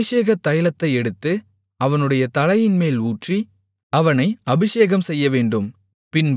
அபிஷேக தைலத்தை எடுத்து அவனுடைய தலையின்மேல் ஊற்றி அவனை அபிஷேகம் செய்யவேண்டும்